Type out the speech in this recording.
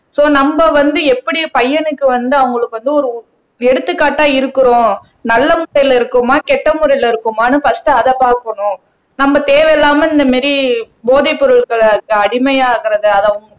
so நம்ம வந்து எப்படி பையனுக்கு வந்து அவங்களுக்கு வந்து ஒரு எடுத்துக்காட்டா இருக்கிறோம் நல்ல முறையில இருக்கோமா கெட்ட முறையில இருக்கோமான்னு பர்ஸ்ட் அதை பார்க்கணும் நம்ம தேவையில்லாம இந்த மாதிரி போதைப் பொருட்களுக்கு அடிமையாகுறது